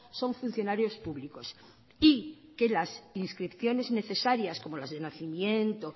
son funcionarios públicos y que las inscripciones necesarias como las de nacimiento